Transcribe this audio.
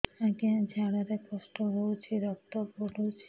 ଅଜ୍ଞା ଝାଡା ରେ କଷ୍ଟ ହଉଚି ରକ୍ତ ପଡୁଛି